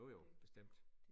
Jo jo bestemt